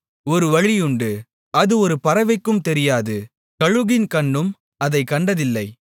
ஒரு வழியுண்டு அது ஒரு பறவைக்கும் தெரியாது கழுகின் கண்ணும் அதைக் கண்டதில்லை